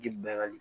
Ji ban ka di